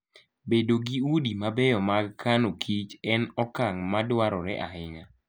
Bedo gi udi mabeyo mag kano Kich en okang' madwarore ahinya.